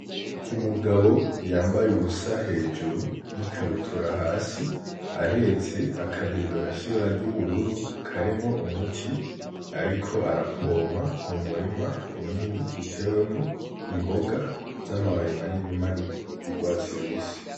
Umugabo yambaye uwusa hejuru n'ikabutura hasi ahetse akabido gashibara ry'ubururu karimwo umuti, ariko arapompa mu murima munini utewemwo imboga z'amababe maneni mani y'urwatsirubisi.